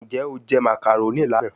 Njẹ o jẹ macaroni lana?